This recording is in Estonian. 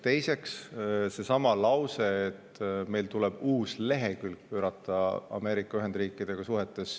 Teiseks, seesama lause, et meil tuleb pöörata uus lehekülg suhetes Ameerika Ühendriikidega.